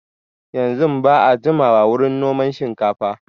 Yanzun ba a jimawa wurin noman shinkafa